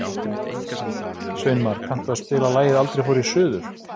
Sveinmar, kanntu að spila lagið „Aldrei fór ég suður“?